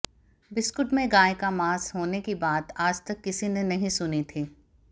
biscuit में गाय का मांस होने की बात आज तक किसी ने नहीं सुनी थी